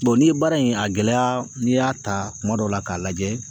n'i ye baara in a gɛlɛya n'i y'a ta kuma dɔw la k'a lajɛ